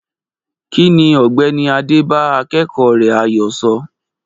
Kí ni Ọ̀gbẹ́ni Adé bá akẹ́kọ̀ọ́ rẹ̀ Ayo sọ?